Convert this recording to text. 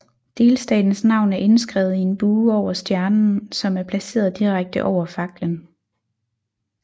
Delstatens navn er indskrevet i en bue over stjernen som er placeret direkte over faklen